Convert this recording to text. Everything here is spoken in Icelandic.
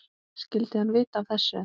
Skyldi hann vita af þessu?